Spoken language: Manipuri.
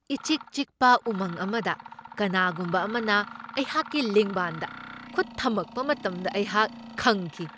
ꯏꯆꯤꯛ ꯆꯤꯛꯄ ꯎꯃꯪ ꯑꯃꯗ ꯀꯅꯥꯒꯨꯝꯕ ꯑꯃꯅ ꯑꯩꯍꯥꯛꯀꯤ ꯂꯦꯡꯕꯥꯟꯗ ꯈꯨꯠ ꯊꯝꯃꯛꯄ ꯃꯇꯝꯗ ꯑꯩꯍꯥꯛ ꯈꯪꯈꯤ ꯫